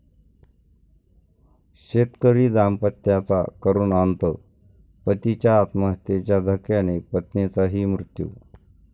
शेतकरी दाम्पत्याचा करुण अंत, पतीच्या आत्महत्येच्या धक्क्याने पत्नीचाही मृत्यू